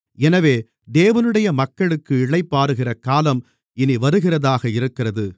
எனவே தேவனுடைய மக்களுக்கு இளைப்பாறுகிற காலம் இனி வருகிறதாக இருக்கிறது